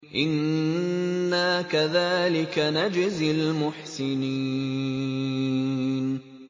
إِنَّا كَذَٰلِكَ نَجْزِي الْمُحْسِنِينَ